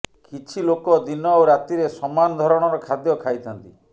କିଛି ଲୋକ ଦିନ ଓ ରାତିରେ ସମାନ ଧରଣର ଖାଦ୍ୟ ଖାଇଥାନ୍ତି